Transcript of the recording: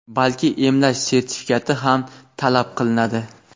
balki emlash sertifikati ham talab qilinadi.